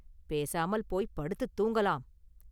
பேசாமல் போய்ப் படுத்துத் தூங்கலாம்.